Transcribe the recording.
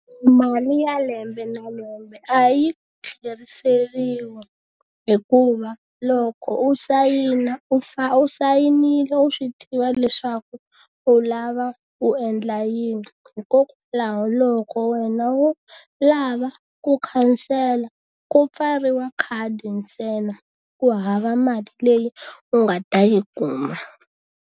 Mali ya lembe na lembe a yi tlheriseriwi hikuva loko u sayina u u sayinile u swi tiva leswaku u lava u endla yini. Hikokwalaho loko wena wo lava ku khansela, ku pfariwa khadi ntsena ku hava mali leyi u nga ta yi kuma.